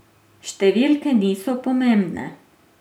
Številke niso pomembne.